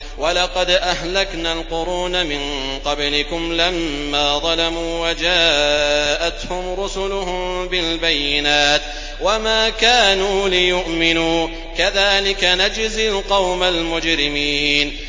وَلَقَدْ أَهْلَكْنَا الْقُرُونَ مِن قَبْلِكُمْ لَمَّا ظَلَمُوا ۙ وَجَاءَتْهُمْ رُسُلُهُم بِالْبَيِّنَاتِ وَمَا كَانُوا لِيُؤْمِنُوا ۚ كَذَٰلِكَ نَجْزِي الْقَوْمَ الْمُجْرِمِينَ